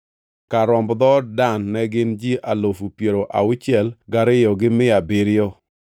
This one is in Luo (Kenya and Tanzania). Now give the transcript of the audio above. Kar romb dhood Dan ne gin ji alufu piero auchiel gariyo gi mia abiriyo (62,700).